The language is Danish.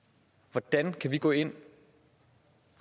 hvordan kan vi gå ind